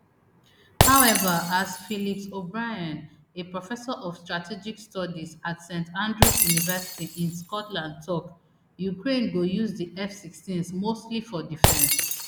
however as phillips obrien a professor of strategic studies at st andrews university in scotland tok ukraine go use di fsixteens mostly for defence